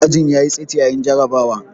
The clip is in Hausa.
Ajin ya yi tsit yayin jarrabawar.